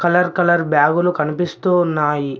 Colour colour బ్యాగులు కనిపిస్తూ ఉన్నాయి.